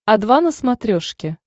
о два на смотрешке